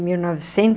Mil